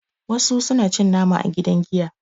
wasu suna cin nama a gidan giya